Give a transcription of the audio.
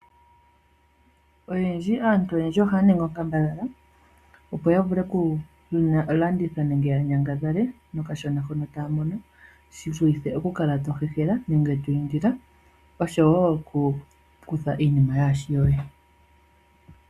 Oyendji, aantu oyendji ohaya ningi onkambadhala opo ya vule oku landitha nenge ya nyangadhale nokashona hono taya mono shi vulithe oku kala to hehela nenge to indile oshowo oku kutha iinima yaashi yoye.